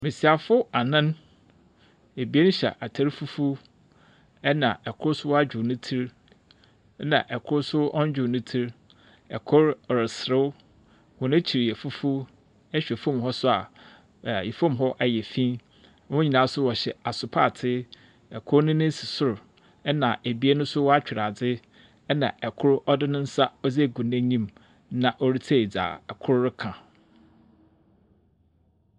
Mbesiafo anan. Ebien hyɛ atar fufuw na kor so wadwow ne tsir. Na kor nso ɔndwow ne tsir. Kor reserew. Hɔn akyir fufuw. Ihwɛ fam hɔ nso a fam hɔ yɛ fi. Wɔn nyinaa wɔhyɛ asopaatsir. Ikor ne sor na abien nso wɔatwir adze. Na kor ɔdze ne nsa ɔde agi n'enyim. Na ɔretie dza kor reka.